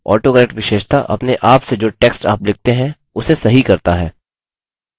autocorrect विशेषता अपने आप से जो text आप लिखते हैं उसे सही करता है